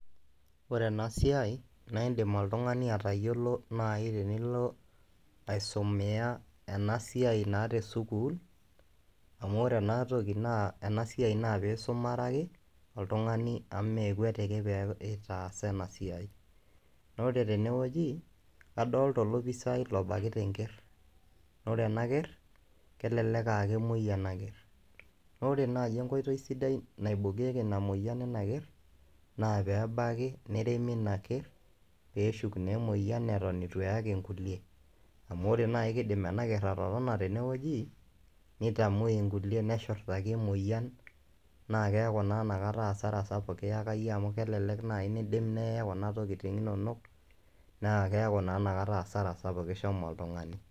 Ore ena siai naa iindim oltung'ani atayiolo tenilo aisumia ena siai naa tesukuul amu ore ena siai naa aisumare ake oltung'ani mee kwatiki pee itaasa ena siai naa ore tenewueji kadolita olopisaai obakita enkerr naa ore ena kerr kelelek aa kemuoi ena kerr naa ore naai enkoitoi sidai naibokieki ina moyian ina kerr naa pee ebaki neremi ina kerr pee eshuk naa emoyian eton itu eyaki nkulie amu ore naai kiidim ena kerr atotona tenewueji nitamuoi nkulie neshurtaki emoyian naa keeku naa ina kata hasara sapuk kiyaka iyie amu kelelek naaji niidim neye kuna tokitin inonok naa keeku naa ina kata hasara sapuk ishomo oltung'ani.